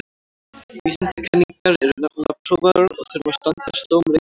Vísindakenningar eru nefnilega prófaðar og þurfa að standast dóm reynslunnar.